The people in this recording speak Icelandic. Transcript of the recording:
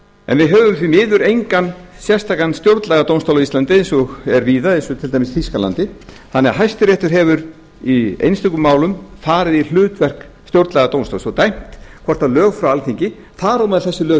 en við höfum því miður engan sérstakan stjórnlagadómstól á íslandi eins og er víða eins og til dæmis í þýskalandi þannig að hæstiréttur hefur í einstökum málum farið í hlutverk stjórnlagadómstóls og dæmt hvort lög frá alþingi þar á meðal þessi lög